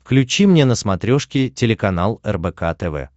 включи мне на смотрешке телеканал рбк тв